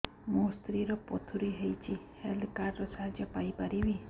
ମୋ ସ୍ତ୍ରୀ ର ପଥୁରୀ ହେଇଚି ହେଲ୍ଥ କାର୍ଡ ର ସାହାଯ୍ୟ ପାଇପାରିବି